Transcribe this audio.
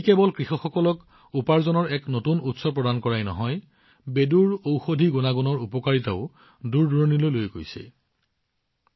ই কেৱল কৃষকসকলক উপাৰ্জনৰ এক নতুন উৎস প্ৰদান কৰাই নহয় লগতে বেডুৰ ঔষধি গুণাগুণৰ লাভালাভ দূৰদূৰণিলৈ যোৱা আৰম্ভ কৰিছে